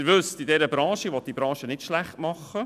Ich will die Branche nicht schlechtmachen;